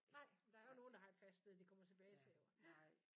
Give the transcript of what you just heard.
Nej der er jo nogen der har et fast sted de kommer tilbage til jo ja